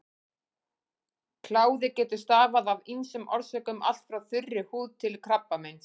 Kláði getur stafað af ýmsum orsökum, allt frá þurri húð til krabbameins.